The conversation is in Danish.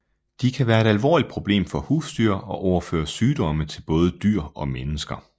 De kan være et alvorligt problem for husdyr og overføre sygdomme til både dyr og mennesker